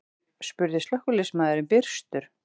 spurði slökkviliðsmaðurinn byrstur.